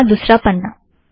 यह रहा दुसरा पन्ना